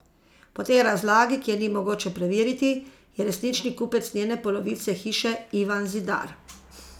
Po tej razlagi, ki je ni mogoče preveriti, je resnični kupec njene polovice hiše Ivan Zidar.